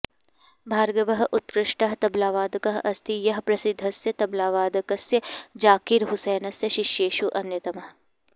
भार्गवः उत्कृष्टः तबलावादकः अस्ति यः प्रसिद्धस्य तबलावादकस्य झाकिर् हुसेनस्य शिष्येषु अन्यतमः